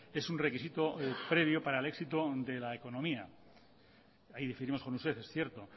es un requisito previo para el éxito de la economía ahí diferimos con ustedes es cierto